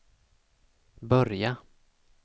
börja